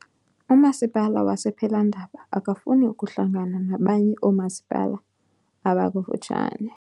Umasipala wase Phelandaba akafuni kuhlangana nabanye oomasipala abakufutshane.